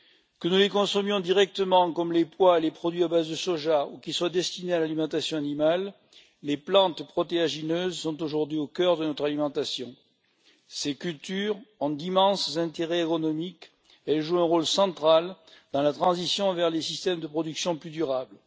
Que nous les consommions directement, comme les pois et les produits à base de soja, ou qu'elles soient destinées à l'alimentation animale, les plantes protéagineuses sont aujourd'hui au cœur de notre alimentation. Ces cultures ont d'immenses intérêts agronomiques et jouent un rôle central dans la transition vers des systèmes de production plus durables.